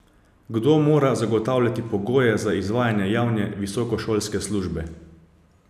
Kdo mora zagotavljati pogoje za izvajanje javne visokošolske službe?